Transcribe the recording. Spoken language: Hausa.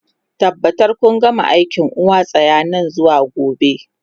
Tabbatar kun gama aikin uwa tsiya nan zuwa gobe!